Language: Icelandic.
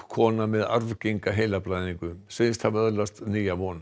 kona með arfgenga heilablæðingu segist hafa öðlast nýja von